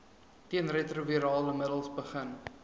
teenretrovirale middels begin